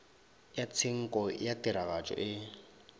ya tshenko ya tiragatšo e